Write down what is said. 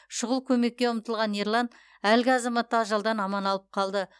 шұғыл көмекке ұмтылған ерлан әлгі азаматты ажалдан аман алып қалды